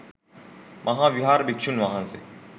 මහා විහාර භික්‍ෂූන් වහන්සේ